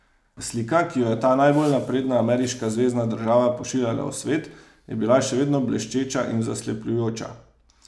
Slika, ki jo je ta najbolj napredna ameriška zvezna država pošiljala v svet, je bila še vedno bleščeča in zaslepljujoča.